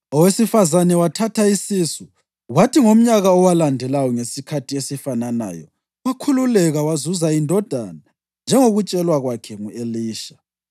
Owesifazane wathatha isisu, kwathi ngomnyaka owalandelayo ngesikhathi esifananayo wakhululeka wazuza indodana njengokutshelwa kwakhe ngu-Elisha.